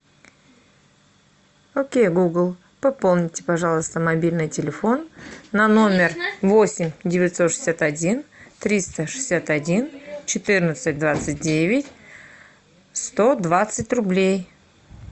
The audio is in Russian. окей гугл пополните пожалуйста мобильный телефон на номер восемь девятьсот шестьдесят один триста шестьдесят один четырнадцать двадцать девять сто двадцать рублей